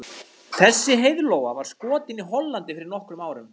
Þessi heiðlóa var skotin í Hollandi fyrir nokkrum árum.